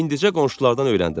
İndicə qonşulardan öyrəndim.